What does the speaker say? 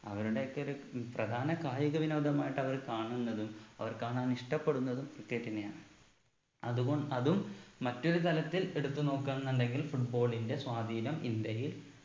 അവരുടെയൊക്കെ ഒരു ഉം പ്രധാന കായിക വിനോദമായിട്ട് അവര് കാണുന്നതും അവർ കാണാൻ ഇഷ്ടപ്പെടുന്നതും cricket നെയാണ് അത് കൊ അതും മറ്റൊരു തലത്തിൽ എടുത്തു നോക്കാന്നുണ്ടെങ്കിൽ football ന്റെ സ്വാധീനം ഇന്ത്യയിൽ